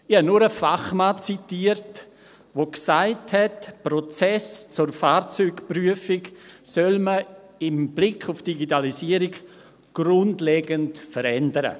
Ich habe nur einen Fachmann zitiert, der gesagt hat, man solle die Prozesse zur Fahrzeugprüfung mit Blick auf die Digitalisierung grundlegend verändern.